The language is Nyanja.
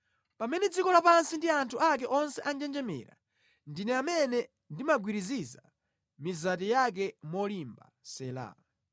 Pamene dziko lapansi ndi anthu ake onse anjenjemera, ndine amene ndimagwiriziza mizati yake molimba. Sela